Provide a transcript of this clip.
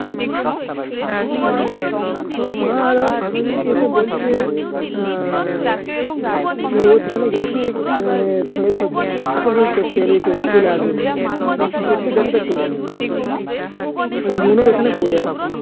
তো ওর মা আজকে এসে বলছে উম যে ও সেখানে গেছে মানে চলে আসবে বলে কি করতে গেছে তা কে জানে। মন এখানে পড়ে আছে।